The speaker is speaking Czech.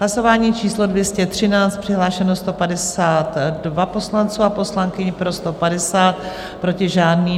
Hlasování číslo 213, přihlášeno 152 poslanců a poslankyň, pro 150, proti žádný.